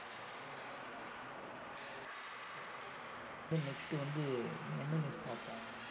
இதுலா ஒரு news ஆ சரி நம்ப இப்ப வந்து next வந்து என்ன news பார்ப்போம்